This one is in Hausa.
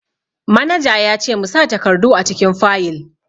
Manaja ya ce mu sa takardu a cikin fayil